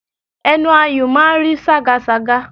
Ẹnu ayùn máa ń rí ságasàga